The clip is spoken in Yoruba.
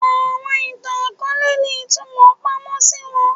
Awọn itan-akọọlẹ ni itumọ pamọ si wọn